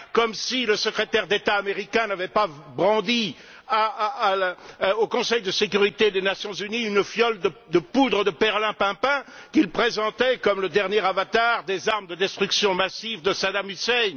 comme si le secrétaire d'État américain n'avait pas brandi au Conseil de sécurité des Nations unies une fiole de poudre de perlimpinpin, qu'il présentait comme le dernier avatar des armes de destruction massive de Saddam Hussein